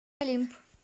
олимп